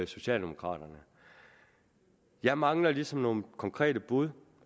socialdemokraterne jeg mangler ligesom nogle konkrete bud